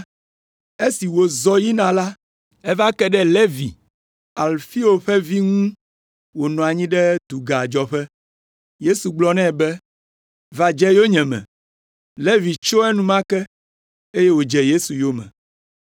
Esi wòzɔ yina la, eva ke ɖe Levi, Alfeo ƒe vi ŋu wònɔ anyi ɖe dugadzɔƒe. Yesu gblɔ nɛ be, “Va dze yonyeme.” Levi tso enumake, eye wòdze Yesu yome.